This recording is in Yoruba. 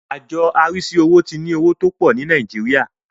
Àjọ arísí ọ̀rọ̀ owó ti ń owó tó pọ̀ ní Nìàjíríà.